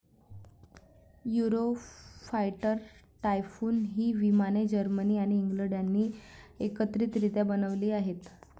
Eurofighter Typhoon हि विमाने Germany आणि इंग्लंड यांनी एकत्रितरित्या बनवलेली आहेत.